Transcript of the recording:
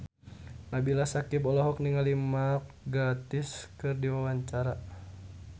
Nabila Syakieb olohok ningali Mark Gatiss keur diwawancara